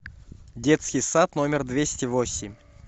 детский сад номер двести восемь